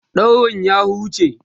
daurin ya huce?